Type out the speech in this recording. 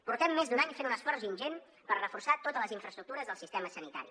portem més d’un any fent un esforç ingent per reforçar totes les infraestructures del sistema sanitari